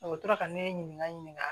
O tora ka ne ɲininka